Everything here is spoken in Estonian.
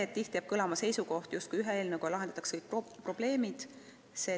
Tihti on jäänud kõlama seisukoht, et ühe eelnõuga lahendatakse kõik probleemid.